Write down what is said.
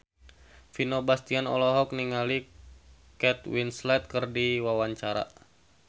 Vino Bastian olohok ningali Kate Winslet keur diwawancara